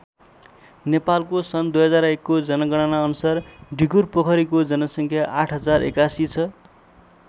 नेपालको सन् २००१ को जनगणना अनुसार ढिकुरपोखरीको जनसङ्ख्या ८०८१ छ।